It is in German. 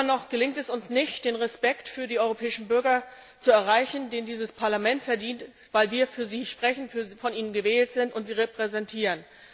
Immer noch gelingt es uns nicht, den Respekt für die europäischen Bürger zu erreichen, den dieses Parlament verdient, weil wir für sie sprechen, von ihnen gewählt sind und sie repräsentieren.